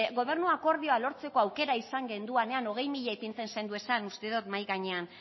gobernu akordioa lortzeko aukera izan genduanean hogei mila ipintzen zenduezan uste dot mahai gainean